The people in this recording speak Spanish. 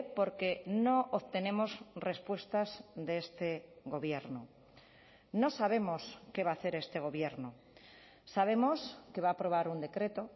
porque no obtenemos respuestas de este gobierno no sabemos qué va a hacer este gobierno sabemos que va a aprobar un decreto